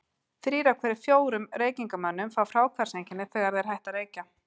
Þrír af hverjum fjórum reykingamönnum fá fráhvarfseinkenni, þegar þeir hætta að reykja.